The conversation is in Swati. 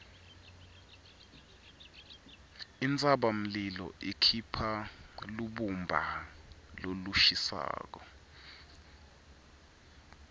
intsabamlilo ikhipha lubumba lolushisako